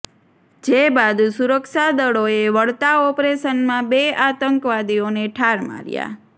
જે બાદ સુરક્ષાદળોએ વળતા ઓપરેશનમાં બે આતંકવાદીઓને ઠાર માર્યા